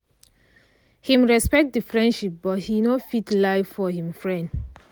him respect the friendship but he no fit lie for him friend